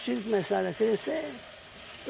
Os filhos começaram a crescer.